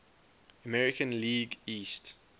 american league east